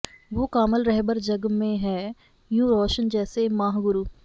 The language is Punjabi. ਵੋਹ ਕਾਮਲ ਰਹਿਬਰ ਜਗ ਮੈਂ ਹੈਂ ਯੂੰ ਰੌਸ਼ਨ ਜੈਸੇ ਮਾਹ ਗੁਰੂ